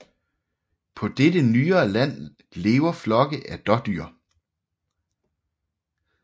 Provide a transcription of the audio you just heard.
På dette nyere land lever flokke af dådyr